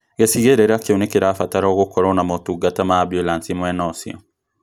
Gĩcigĩrĩra kĩu nĩkĩrabatarwo gũkorwo na motungata ma ambulanĩcĩ mwena ũcio